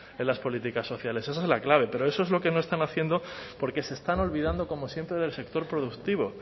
en las políticas sociales esa es la clave pero eso es lo que no están haciendo porque se están olvidando como siempre del sector productivo